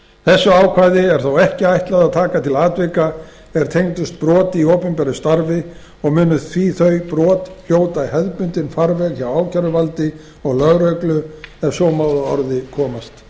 þessu ákvæði er þó ekki ætlað að taka til atvika er tengjast broti í opinberu starfi og munu því þau brot fara í hefðbundinn farveg hjá ákæruvaldi og lögreglu ef svo má að orði komast þá